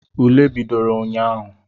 Ule bidoro ụnyaahụ.